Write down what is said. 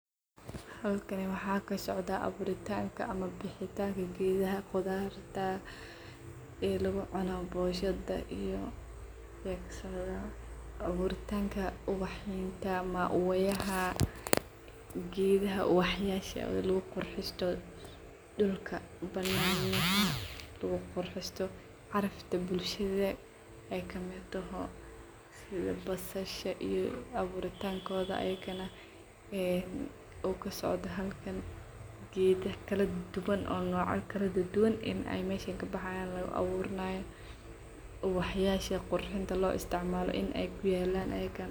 Halkkani waxa kasocdo abuurtinka ama baxitanka geedaha qudharta iyo lagucuno bonshada iyo aburitanka ubaxyada ama maua yaaha. Geedaha ubaax yaasha laguqurxisto dulka bananyaha lagu quristo carafta bulshada aay kamid toho sidhaa basasha iyo abuurtan koodha ayakana een kusocdo geedha kaladuwaan oo noocyo kaladuduwaan aay meshan kabaxayan oo lagu aburnayo ubaxyasha qurxinta loo isticmaalo in ay ku yaalan ayakana.